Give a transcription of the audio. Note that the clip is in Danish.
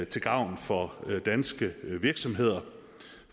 til gavn for danske virksomheder